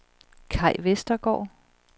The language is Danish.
Kai Vestergaard